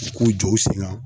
k'u jɔ u sen ŋan